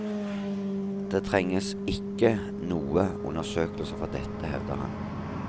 Det trenges ikke noe undersøkelser for dette, hevder han.